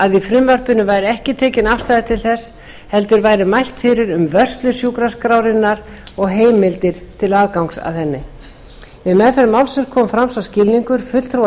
að í frumvarpinu væri ekki tekin afstaða til þessa heldur væri mælt fyrir um vörslu sjúkraskrárinnar og heimildir til aðgangs að henni við meðferð málsins kom fram sá skilningur fulltrúa